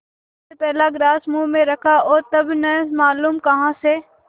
उसने पहला ग्रास मुँह में रखा और तब न मालूम कहाँ से